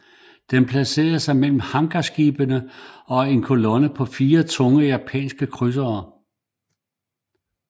Den placerede sig mellem hangarskibene og en kolonne på fire tunge japanske krydsere